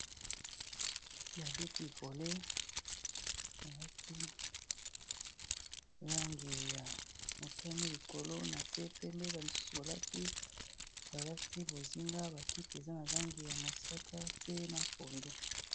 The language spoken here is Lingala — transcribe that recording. Babeti volet balati langi ya motami likolo na se pembe bamisusu ibalati bozinga, bakite eza na langi ya mosaka, mpe na kondo.